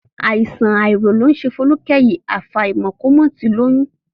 Àìsàn àárọ̀ ló ń ṣe Folúkẹ́ yìí, àfàìmọ̀ kó má ti lóyún